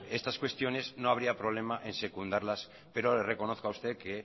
estas cuestiones no habría problema en secundarlas pero le reconozco a usted que he